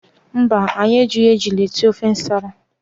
Mba anyị ejighi ejula esị ofe ǹsàlà.